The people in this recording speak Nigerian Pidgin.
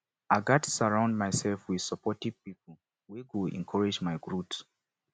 i gats surround myself with supportive pipo wey go encourage my growth